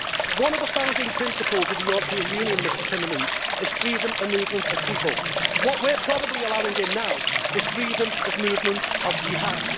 One of the founding principles of the European Union, Mr Timmermans, is freedom of movement of people. What we are probably allowing now is freedom of movement of jihad.